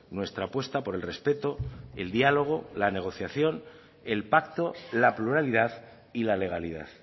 nuestra apuesta por el respeto el diálogo la negociación el pacto la pluralidad y la legalidad